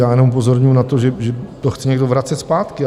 Já jenom upozorňuji na to, že to chce někdo vracet zpátky.